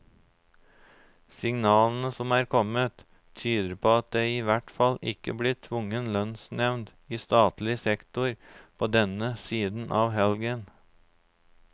Signalene som er kommet, tyder på at det i hvert fall ikke blir tvungen lønnsnevnd i statlig sektor på denne siden av helgen.